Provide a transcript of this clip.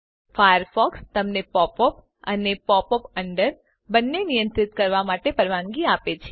Firefox તમને pop up અને pop under બંનેને નિયંત્રિત કરવા માટે પરવાનગી આપે છે